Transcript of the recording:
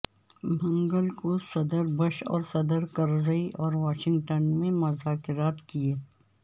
منگل کو صدر بش اور صدر کرزئی نے واشنگٹن میں مذاکرات کیئے